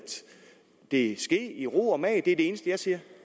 det ske i ro og mag det er det eneste jeg siger